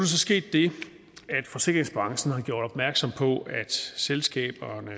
så sket det at forsikringsbranchen har gjort opmærksom på at selskaberne